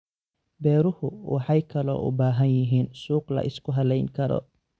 Beeruhu waxay kaloo u baahan yihiin suuq la isku halayn karo.